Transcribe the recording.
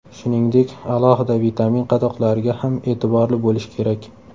Shuningdek, alohida vitamin qadoqlariga ham e’tiborli bo‘lish kerak.